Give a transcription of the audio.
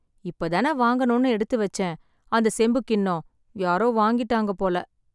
இப்ப தானே வாங்கணும்னு எடுத்து வச்சேன் அந்த செம்புக் கிண்ணம், யாரோ வாங்கிட்டாங்க போல.